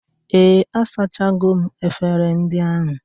Ee, asachago m efere ndị ahụ